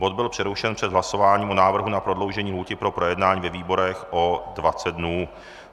Bod byl přerušen před hlasováním o návrhu na prodloužení lhůty pro projednání ve výborech o 20 dnů.